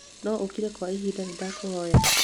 no o kire gwa kahinda nĩndakũhoya?